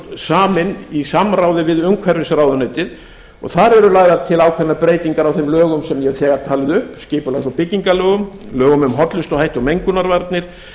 saminn í samráði við umhverfisráðuneytið og þar eru lagðar til ákveðnar breytingar á þeim lögum sem ég hef þegar talið upp skipulags og byggingarlögum lögum um hollustuhætti og mengunarvarnir